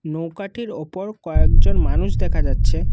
নৌকাটির ওপর কয়েকজন মানুষ দেখা যাচ্ছে।